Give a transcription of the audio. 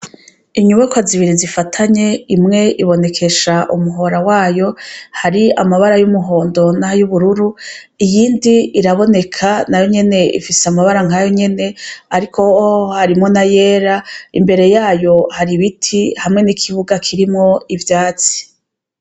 Inyubakwa zibiri zifatanye imwe ibonekesha umuhora wayo hari amabara y' umuhondo n' ayubururu iyindi iraboneka ifise amabara nk' ayo nyene ariko yoyo harimwo n' ayera imbere yaho hari ibiti hamwe n' ikibuga kirimwo ivyatsi.